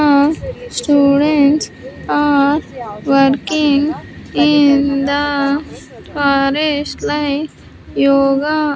Uh students are working in the forest like yoga.